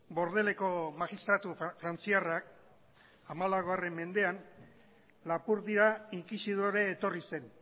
bordeleko magistratu frantziarrak hamalau mendean lapurdira inkisidore etorri zen